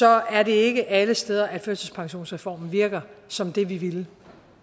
er det ikke alle steder at førtidspensionsreformen virker som det vi ville